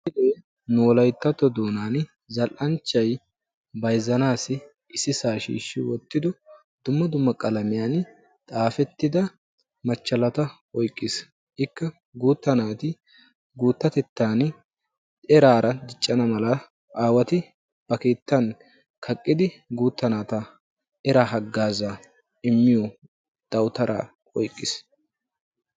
Nu wolayttatto doonan zal"anchchay bayzzanassi ississa shiishshi wottido dumma dumma qalamiyaan xaafettida maccalata oyqqiis. Ikka guutta naati guuttatettan eraara diccana mala aawati ba keettan kaqqidi guutta naata eraa haggaazza immiyo dawutaara oyqqiis.